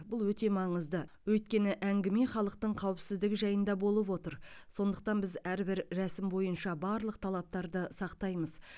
бұл өте маңызды өйткені әңгіме халықтың қауіпсіздігі жайында болып отыр сондықтан біз әрбір рәсім бойынша барлық талаптарды сақтаймыз